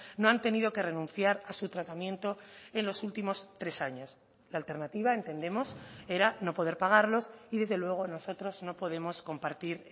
no han tenido que renunciar a su tratamiento en los últimos tres años la alternativa entendemos era no poder pagarlos y desde luego nosotros no podemos compartir